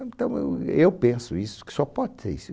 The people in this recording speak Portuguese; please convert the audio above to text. Então eu eu penso isso, que só pode ser isso.